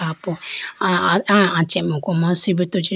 apo aya aya achemuku ma sibruto chee.